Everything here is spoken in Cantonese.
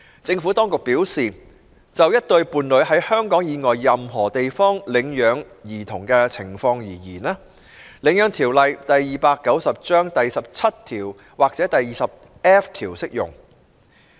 政府當局表示，就一對伴侶在香港以外任何地方領養兒童的情況而言，《領養條例》第17條或第 20F 條適用。